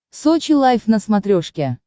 сочи лайф на смотрешке